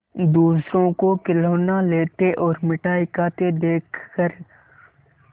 दूसरों को खिलौना लेते और मिठाई खाते देखकर